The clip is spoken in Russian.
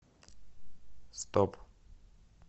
стоп